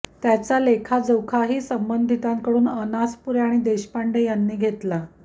त्याचा लेखाजोखाही संबंधितांकडून अनासपुरे आणि देशपांडे यांनी घेतला